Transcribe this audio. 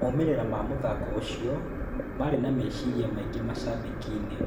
Moimĩrĩra ma mũthako ũcio marĩ na meciria maingĩ macabiki-inĩ